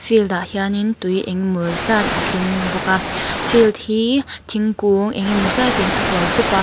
field ah hianin tui engemaw zat a tling bawk a field hi thingkung enge maw zat in a hual khup a.